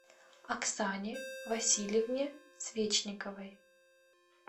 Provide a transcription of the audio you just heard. оксане васильевне свечниковой